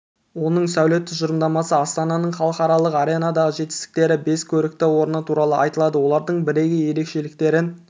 оның сәулет тұжырымдамасы астананың халықаралық аренадағы жетістіктері бес көрікті орны туралы айтылады олардың бірегей ерекшеліктерін